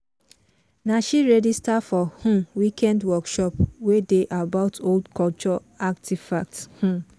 na she register for um weekend workshop wey dey about old culture artifacts. um